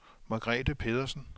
Margrethe Pedersen